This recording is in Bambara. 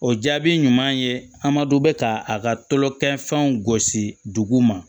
O jaabi ɲuman ye an ma dɔn bɛ ka a ka tulo kɛ fɛnw gosi dugu ma